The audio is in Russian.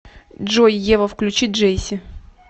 джой ева включи джейси